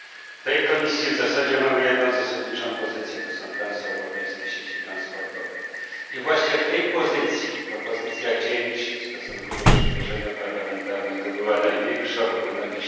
W tej komisji w zasadzie mamy jedną zasadniczą pozycję są to transeuropejskie sieci transportowe. Właśnie w tej pozycji propozycja cięć w stosunku do projektu parlamentarnego była największa, bo ponad